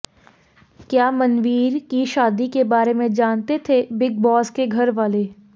क्या मनवीर की शादी के बारे में जानते थे बिग बॉस के घर वाले